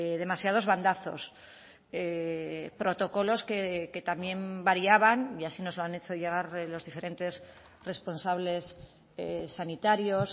demasiados bandazos protocolos que también variaban y así nos lo han hecho llegar los diferentes responsables sanitarios